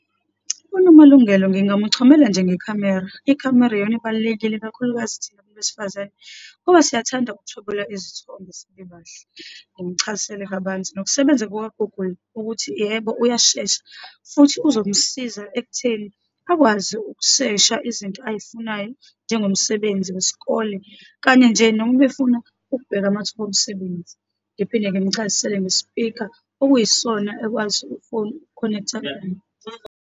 UNomalungelo ngingamuchomela nje ngekhamera. Ikhamera iyona ibalulekile, ikakhulukazi thina bantu besifazane ngoba siyathanda ukuthwebula izithombe sibebahle. Ngimuchazisele kabanzi ngokusebenza kuka-Google, ukuthi yebo, uyashesha, futhi uzomsiza ekutheni akwazi ukusesha izinto ayifunayo, njengomsebenzi wesikole, kanye nje noma ubefuna ukubheka amathuba omsebenzi. Ngiphinde ngimuchazisele ngesipika okuyisona ekwazi ifoni uku-connect-a .